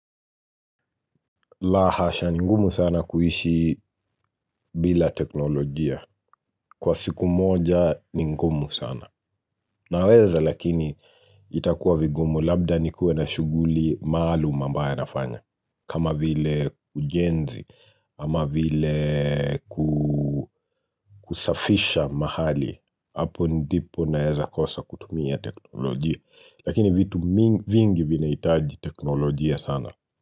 La hasha ni ngumu sana kuishi bila teknolojia. Kwa siku moja ni ngumu sana. Naweza lakini itakuwa vingumu labda nikuwe na shughuli maalum ambaye nafanya. Kama vile ujenzi, ama vile kusafisha mahali. Apo ndipo naeza kosa kutumia teknolojia. Lakini vitu vingi vinahitaji teknolojia sana.